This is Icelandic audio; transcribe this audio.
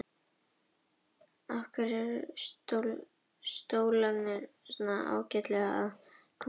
Heilmiklir vöðvar leyndust undir lopapeysunni og okkur gekk ágætlega að koma stólnum út úr íbúðinni.